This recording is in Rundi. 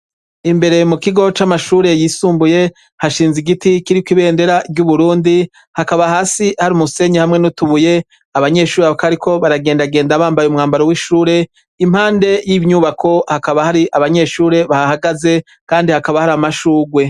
Imbere mu kigo c'amashuri yisumbuye, hashinze igiti kiriko ibendera ry'Uburundi, hakaba hasi hari umusenyi n'utubuye. Abanyeshure bakaba bariko baragendagenda bambaye umwambaro w'ishure. Impande y'inyubako hakaba hari abanyeshure bahahagaze, kandi hakaba hari amashurwe.